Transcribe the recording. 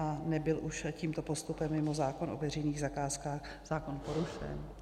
A nebyl už tímto postupem mimo zákon o veřejných zakázkách zákon porušen?